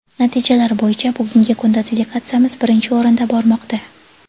natijalar bo‘yicha bugungi kunda delegatsiyamiz birinchi o‘rinda bormoqda.